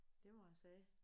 Det må jeg sige